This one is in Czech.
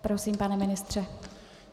Prosím, pane ministře.